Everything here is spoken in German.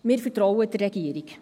Wir vertrauen der Regierung.